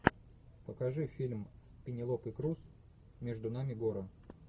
покажи фильм с пенелопой крус между нами горы